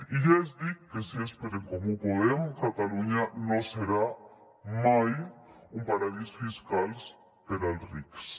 i ja els dic que si és per en comú podem catalunya no serà mai un paradís fiscal per als rics